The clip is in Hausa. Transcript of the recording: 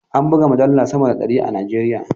An buga mujallu sama da ɗari a Najeriya.